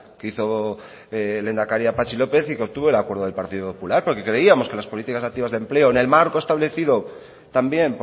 que hizo lehendakari a patxi lópez y que obtuvo el acuerdo del partido popular porque creíamos que las políticas activas de empleo en el marco establecido también